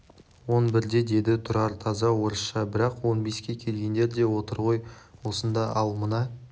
он бірде деді тұрар таза орысша бірақ он беске келгендер де отыр ғой осында ал мына